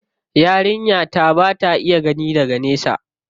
Yarinya ta ba ta iya gani daga nesa.